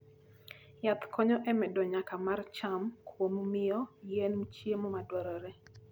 Yath konyo e medo nyak mar cham kuom miyo yien chiemo madwarore.